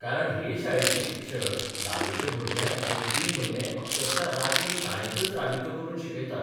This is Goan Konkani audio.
कारण हे शाळेचे शिक्षक धावेच्या भुरग्यांक दोन तीन म्हयने अक्षरशा रातीन शाळेंतच राबितो करून शिकयतात.